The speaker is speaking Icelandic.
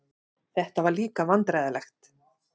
Þetta var líka vandræðalegt.